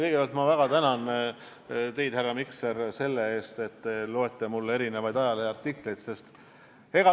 Kõigepealt ma väga tänan teid, härra Mikser, selle eest, et te loete mulle ette erinevaid ajaleheartikleid.